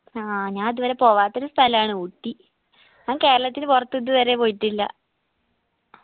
ആ ഞാ ഇത് വരെ പോകാത്തൊരു സ്ഥലാണ് ഊട്ടി ഞാൻ കേരളത്തിന് പൊറത്ത് ഇത് വരെ പോയിട്ടില്ല